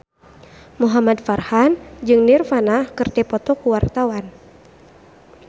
Muhamad Farhan jeung Nirvana keur dipoto ku wartawan